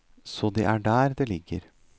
Så det er der det ligger.